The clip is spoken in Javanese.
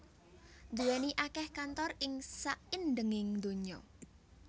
nduwèni akèh kantor ing saindhenging donya